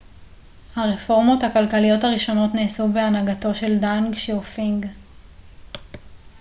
הרפורמות הכלכליות הראשונות נעשו בהנהגתו של דנג שיאופינג